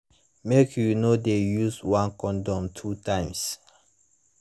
make you no de use one condom two times